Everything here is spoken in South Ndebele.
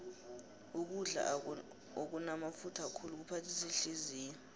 ukudla okunamafutha khulu kuphathisa ihliziyo